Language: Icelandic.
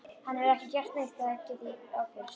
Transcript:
Hann hefur ekki gert neitt, það get ég ábyrgst.